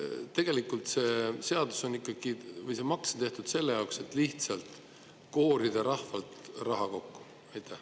Tegelikult see seadus, see maks on tehtud selle jaoks, et lihtsalt rahvast koorida.